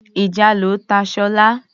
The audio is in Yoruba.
Ìjàlọ ta Sola.